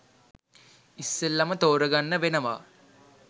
ඉස්සෙල්ලම ‍තෝරගන්න වෙනවා.